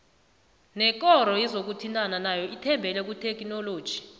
nekoro yezokuthintana nayo ithembele kuthekhinoloji